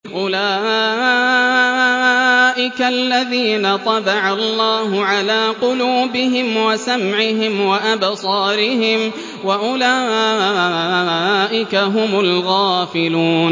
أُولَٰئِكَ الَّذِينَ طَبَعَ اللَّهُ عَلَىٰ قُلُوبِهِمْ وَسَمْعِهِمْ وَأَبْصَارِهِمْ ۖ وَأُولَٰئِكَ هُمُ الْغَافِلُونَ